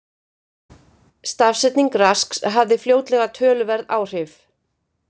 Stafsetning Rasks hafði fljótlega töluverð áhrif.